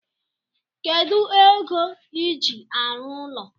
Kedu ego iji arụ ụlọ